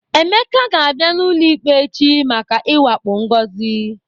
Emeka ga-abịa n'ụlọikpe echi maka ịwakpo Ngozi.